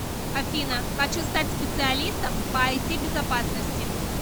афина хочу стать специалистом по айти безопасности